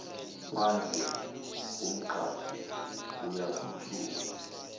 phandle umqaphi uyaphuthuma